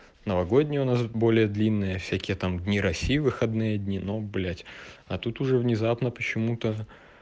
новогодние у нас более длинные всякие там дни россии выходные дни но блять а тут уже внезапно почему-то